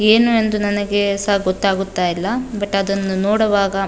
ಏನೆಂದು ನನಗೆ ಸ ಗೊತ್ತಾಗ್ತಾ ಇಲ್ಲ ಬಟ್ ಅದನ್ನು ನೋಡುವಾಗ --